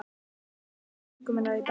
Ég gæti tungu minnar í dag.